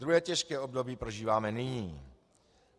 Druhé těžké období prožíváme nyní.